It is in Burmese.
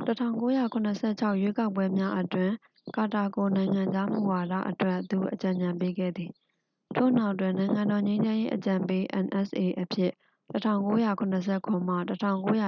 ၁၉၇၆ ရွေးကောက်ပွဲများအတွင်း ကာတာကို နိုင်ငံခြားမူဝါဒအတွက် သူအကြံဉာဏ်ပေးခဲ့သည်၊ ထို့နောက်တွင် နိုင်ငံတော်လုံခြုံရေးအကြံပေး nsa အဖြစ် ၁၉၇၇မှ ၁၉၈၁